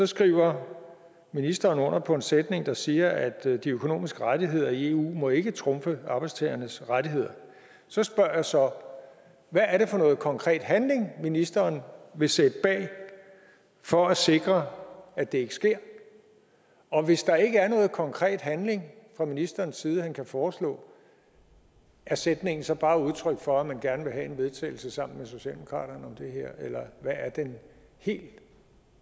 skriver ministeren under på en sætning der siger at de økonomiske rettigheder i eu ikke må trumfe arbejdstagernes rettigheder så spørger jeg så hvad er det for noget konkret handling ministeren vil sætte bag for at sikre at det ikke sker og hvis der ikke er noget konkret handling fra ministerens side han kan foreslå er sætningen så bare udtryk for at man gerne vil have en vedtagelse sammen med socialdemokratiet her eller hvad er den helt